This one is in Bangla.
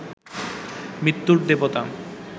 মৃত্যুর দেবতা